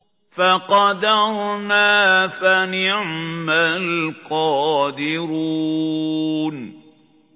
فَقَدَرْنَا فَنِعْمَ الْقَادِرُونَ